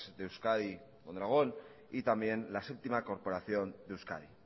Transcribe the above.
de euskadi mondragón y también la séptima corporación de euskadi